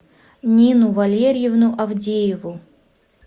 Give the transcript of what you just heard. нину валериевну авдееву